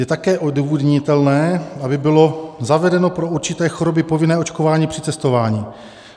Je také odůvodnitelné, aby bylo zavedeno pro určité choroby povinné očkování při cestování.